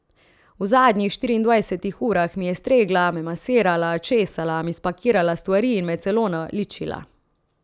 V zadnjih štiriindvajsetih urah mi je stregla, me masirala, česala, mi spakirala stvari in me celo naličila.